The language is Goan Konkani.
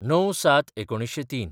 ०९/०७/०३